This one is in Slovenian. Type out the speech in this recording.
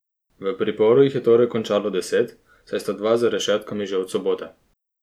V priporu jih je torej končalo deset, saj sta dva za rešetkami že od sobote.